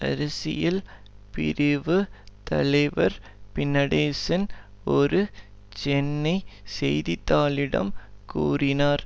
அரசியல் பிரிவு தலைவர் பிநடேசன் ஒரு சென்னை செய்தி தாளிடம் கூறினார்